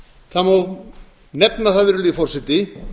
það má nefna það virðulegi forseti